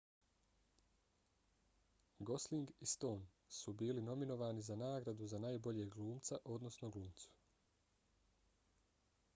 gosling i stone su bili nominovani za nagradu za najboljeg glumca odnosno glumicu